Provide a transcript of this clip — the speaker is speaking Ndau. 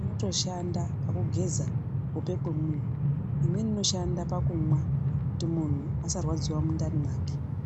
Inotoshanda pakugeza kuhope kwemuntu. Imweni inoshanda pakumwa kuti munhu akarwadziwa mundani mwake.